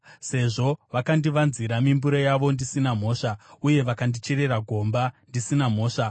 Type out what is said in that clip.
Sezvo vakandivanzira mimbure yavo ndisina mhosva, uye vakandicherera gomba ndisina mhosva,